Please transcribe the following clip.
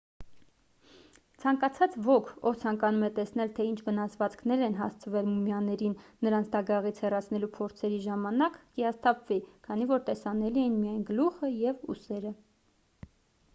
ցանկացած ոք ով ցանկանում է տեսնել թե ինչ վնասվածքներ են հասցվել մումիաներին նրանց դագաղից հեռացնելու փորձերի ժամանակ կհիասթափվի քանի որ տեսանելի են միայն գլուխը և ուսերը